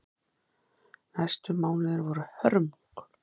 Næstu mánuðir voru hörmung.